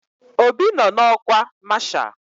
Obi nọ n'ọkwa masha